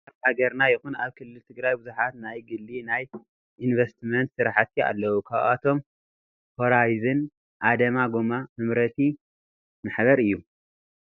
ኣብ ሃገርና ይኹን ኣብ ክልል ትግራይ ብዙሓት ናይ ግሊ ናይ እንቨስትመንት ስራሕቲ ኣለው ካብኣቶም ሆራይዘን ኣዳማ ጎማ መምረቲ ሓ/ ዝ/ ግ/ ማሕበር እዩ፡፡